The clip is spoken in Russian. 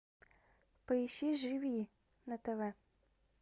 поищи живи на тв